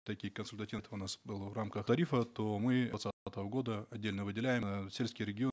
таких консультативов у нас было в рамках тарифа то мы года отдельно выделяем сельский регион